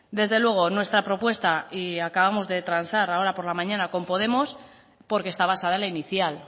desde luego nuestra propuesta y acabamos de transar ahora por la mañana con podemos porque está basada en la inicial